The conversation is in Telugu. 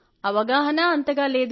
అవగాహన అంతగా లేదు